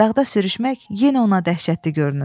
Dağda sürüşmək yenə ona dəhşətli görünür.